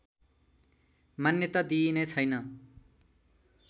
मान्यता दिइने छैन